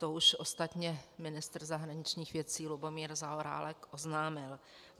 To už ostatně ministr zahraničních věcí Lubomír Zaorálek oznámil.